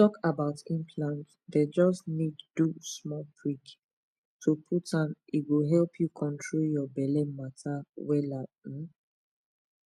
talk about implant dem just need do small prick to put m e go help you control your belle matter wela um